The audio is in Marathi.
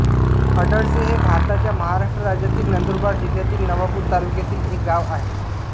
अडळसे हे भारताच्या महाराष्ट्र राज्यातील नंदुरबार जिल्ह्यातील नवापूर तालुक्यातील एक गाव आहे